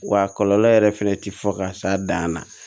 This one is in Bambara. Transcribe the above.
Wa kɔlɔlɔ yɛrɛ fɛnɛ tɛ fɔ ka s'a dan na